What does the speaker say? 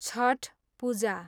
Chhath Puja